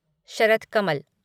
Sharath Kamal